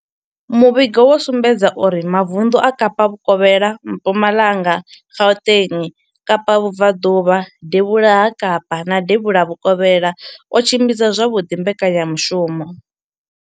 Muvhigo wo sumbedzisa uri mavundu a Kapa vhukovhela, Mpumalanga, Gauteng, Kapa vhubvaḓuvha, devhula ha Kapa na devhula Vhukovhela o tshimbidza zwavhuḓi mbekanyamushumo.